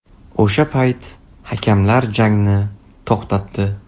O‘sha payt hakamlar jangni to‘xtatdi.